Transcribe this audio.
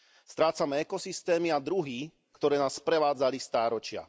Strácame ekosystémy a druhy, ktoré nás sprevádzali stáročia.